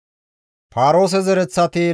Paaroose zereththati 2,172,